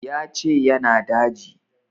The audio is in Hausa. Ya ce ya na daji